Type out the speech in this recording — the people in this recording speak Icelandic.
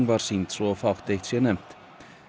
var sýnd svo fátt eitt sé nefnt